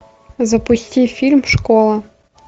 запусти фильм школа